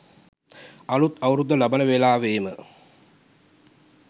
අලුත් අවුරුද්ද ලබන වෙලාවේම